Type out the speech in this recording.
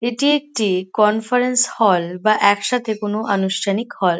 এটি একটি conference hall বা একসাথে কোন আনুষ্ঠানিক হল ।